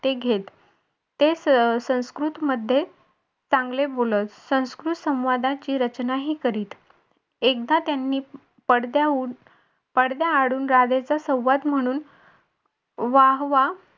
ते घेत ते संस्कृत मध्ये चांगले बोलत संस्कृत संवादाची रचनाही करीत एकदा त्यांनी पडद्यावरून पडद्याआडून संवाद म्हणून वाह वाह